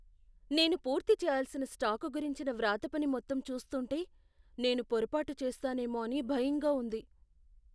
నేను పూర్తి చేయాల్సిన స్టాకు గురించిన వ్రాతపని మొత్తం చూస్తుంటే, నేను పొరపాటు చేస్తానేమో అని భయంగా ఉంది!